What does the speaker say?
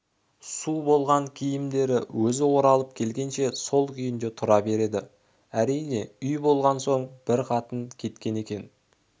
су болған киімдері өзі оралып келгенше сол күйінде тұра береді әрине үй болған соң бір қатын кеткен екен